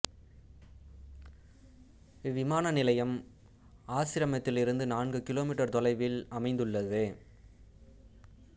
இவ்விமான நிலையம் ஆசிரமத்திலிருந்து நான்கு கி மீ தொலைவில் அமைந்துள்ளது